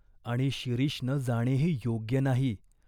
आणि शिरीषनं जाणेही योग्य नाही.